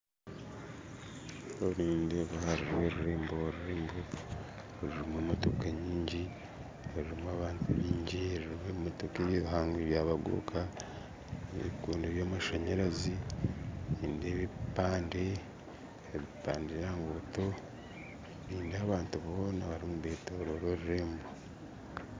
Kuri nindeeba hariyo orurembo, orurembo rurimu emotooka nyingi harimu abantu baingi harimu ebimotooka ebihango ebyabaguruka, ebikondo by'amashanyarazi nindeeba ebipande by'aha nguuto nindeeba abantu boona barimu nibetorora orurembo